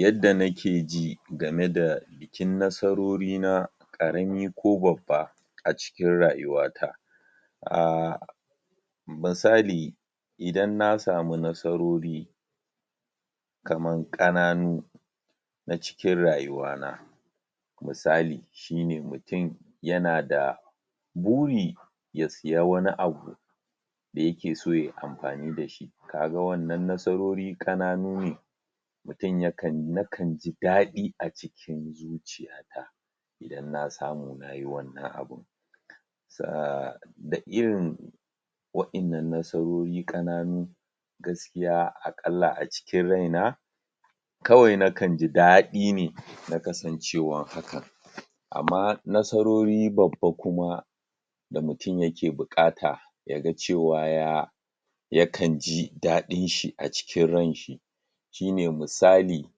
yadda nakeji game da bikin nasarori na ƙarami ko babba a cikin rayuwa ta ahh misali idan na samu nasarori kaman kananu na cikin rayuwa na misali shine mutum yana da buri ya siya wani abu da yakeso yayi amfani dasu kaga wannan nasarori ƙananu ne mutum yakan.. nakanji dadi a cikin zuciya ta idan na samu nayu wannan abun saa da irin wa innan nasarori kananun gaskiya, a ƙalla a cikin raina kawai nakanji daɗi ne na kasancewan haka amma nasarori babba kuma da mutum yake bukata yaga cewa ya yakanji daɗinshi a cikin ranshi shine misali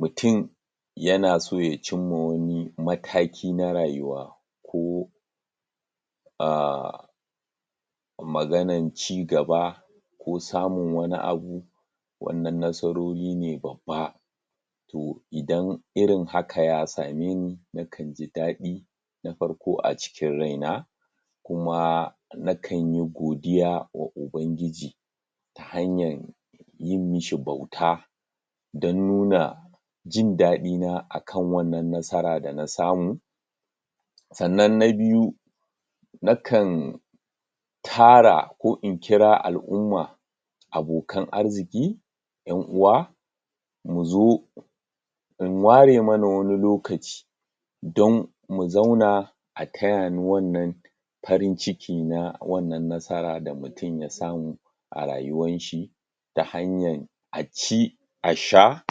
mutum yanaso ya cinma wani mataki na rayuwa ko ahh maganan ci gaba ko samun wani abu wannan nasarori ne babba to idan irin haka ya sameni nakanji daɗi na farko a cikin raina kuma nakanyi godiya wa ubangiji ta hanyan yin mishi bauta dan nuna jin dadi na akan wannan nasara da na samu sannan na biyu nakan tara ko in kira al'umma abokan arziki yan uwa muzo mu ware mana wani lokaci don mu zauna a tayani wannan farin ciki na wannan nasara da mutum ya samu a rayuwanshi ta hanyan aci a sha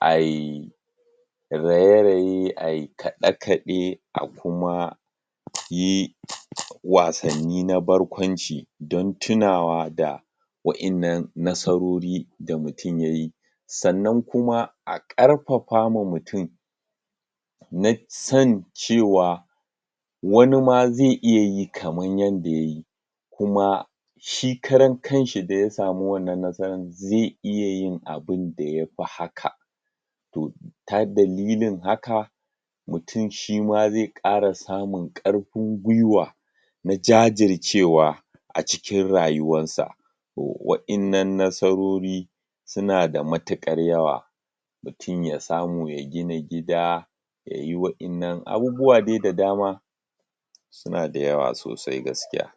ai raye-raye ai kaɗe-kaɗe a kuma yi wasanni na barkwnaci don tunawa da wa innan nasarori da mutum yayi sannan kuma a ƙarfafa ma mutum na san cewa wani ma zai iya yin kaman yanda yayi kuma shi karan kanshi da ya sami wannan nasaran zai iya yin abinda yafi haka to ta dalilin haka mutum shima ze ƙara samun ƙarfin gwiwa na jajircewa acikin rayuwarsa to, wa innan nasarori suna da matuƙar yawa mutum ya samu ya gina gida yayi wa innan abubuwa dai da dama suna da yawa sosai gaskiya